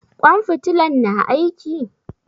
Ƙwan fitilan na aiki?